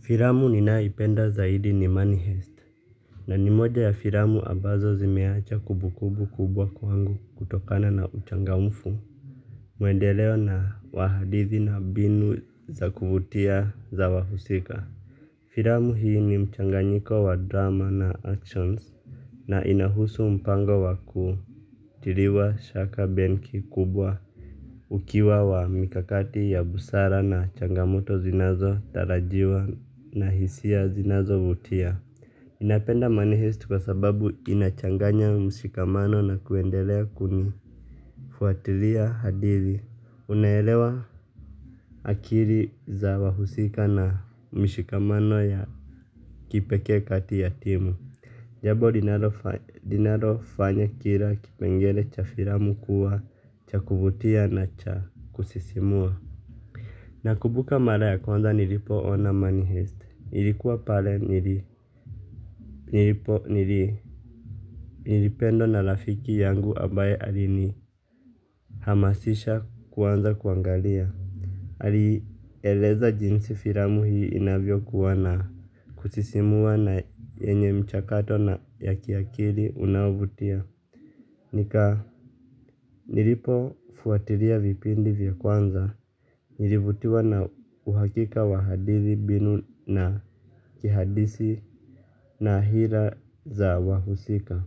Filamu ninayoipenda zaidi ni Money Heist, na ni moja ya filamu ambazo zimeacha kumbukumbu kubwa kwangu kutokana na uchangamfu. Mwendeleo na wa hadithi na mbinu za kuvutia za wahusika. Filamu hii ni mchanganyiko wa drama na action, na inahusu mpango wa kuiba. Tiliwa shaka benki kubwa, ukiwa wa mikakati ya busara na changamoto zinazotarajiwa na hisia zinazovutia. Ninapenda Money Heist kwa sababu inachanganya mshikamano na kuendelea kunifuatilia hadithi. Unaelewa akili za wahusika na mshikamano ya kipekee kati ya timu. Jambo linalofanya kila kipengele cha filamu kuwa cha kuvutia na cha kusisimua. Nakumbuka mara ya kwanza nilipoona Money Heist. Nilikuwa pale nilipo, nilipendwa na rafiki yangu ambaye alinihamasisha kwanza kuangalia. Alieleza jinsi filamu hii inavyokuwa ya kusisimua na yenye mchakato na ya kiakili unaovutia. Nilipofuatilia vipindi vya kwanza, nilivutiwa na uhakika wa hadithi bunifu na kihadithi, na hisia za wahusika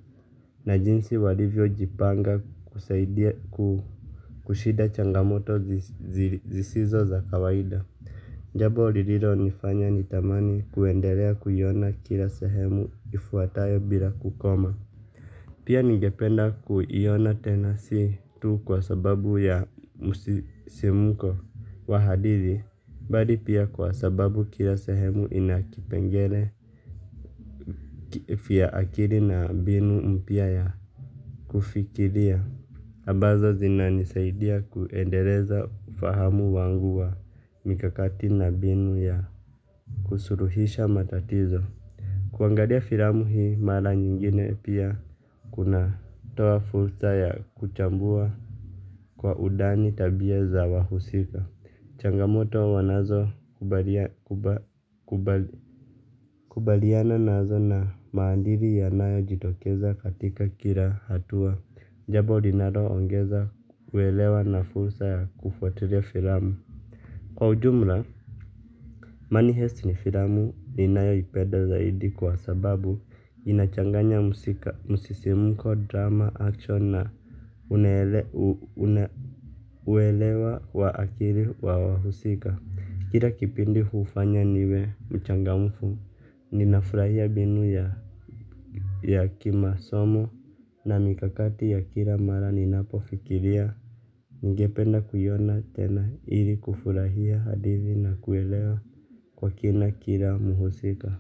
na jinsi walivyojipanga kushinda changamoto zisizo za kawaida. Jambo lililonifanya nitamani kuendelea kuona kila sehemu ifuatayo bila kukoma. Pia ningependa kuiona tena, si tu kwa sababu ya msisimko wa hadithi bali pia kwa sababu kila sehemu ina kipengele cha akili na mbinu mpya ya kufikiria ambazo zinanisaidia kuendeleza ufahamu wangu wa mikakati na mbinu ya kusulihisha matatizo. Kuangalia filamu hii mara nyingine pia kunatoa fursa ya kuchambua kwa undani tabia za wahusika. Changamoto wanazokabiliana nazo na maadili yanayojitokeza katika kila hatua. Jambo linaloongeza uelewa na fursa ya kufuatilia filamu. Kwa ujumla, Money Heist ni filamu ninayoipenda zaidi kwa sababu inachanganya msisimko, drama, action na uelewa. Uelewa wa akili wa wahusika, kila kipindi hufanya niwe mchangamfu, ninafurahia mbinu ya kimasomo na mikakati ya kila mara ninapofikiria. Ningependa kuiona tena ili kufurahia hadithi na kuelewa kwa kina kila mhusika.